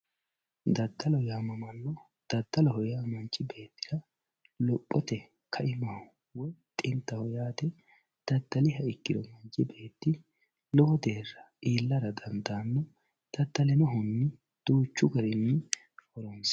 Dadalo yaamamano dadalu manchi beetira lophote kaimaho woyi xintaho yaate dadaliha ikiro mittu neeti lowo deera iilara dandano dadalinohuni duuchu garini horonsirano